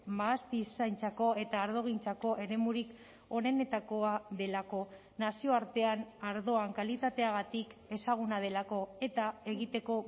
mahastizaintzako eta ardogintzako eremurik onenetakoa delako nazioartean ardoan kalitateagatik ezaguna delako eta egiteko